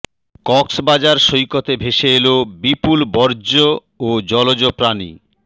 কক্সবাজার সৈকতে ভেসে এল বিপুল বর্জ্য ও জলজ প্রাণী